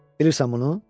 Bilirsən bunu?